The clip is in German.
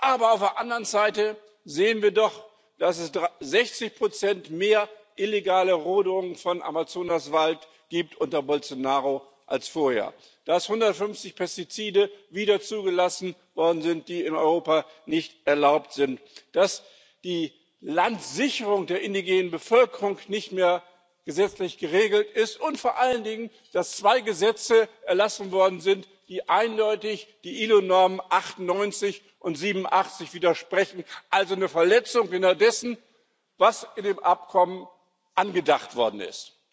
Aber auf der anderen Seite sehen wir doch, dass es unter Bolsonaro 60 mehr illegale Rodung von Amazonaswald gibt als vorher, dass 150 Pestizide wieder zugelassen worden sind, die in Europa nicht erlaubt sind, dass die Landsicherung der indigenen Bevölkerung nicht mehr gesetzlich geregelt ist, und vor allen Dingen, dass zwei Gesetze erlassen worden sind, die eindeutig den ILO Normen 98 und 87 widersprechen, also eine Verletzung genau dessen darstellen, was in dem Abkommen angedacht worden ist.